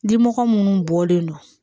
Dimɔgɔ minnu bɔlen don